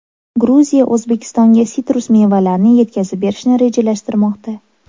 Gruziya O‘zbekistonga sitrus mevalarini yetkazib berishni rejalashtirmoqda.